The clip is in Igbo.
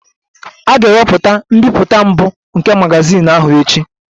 A ga-ewepụta mbipụta mbụ nke magazin ahụ echi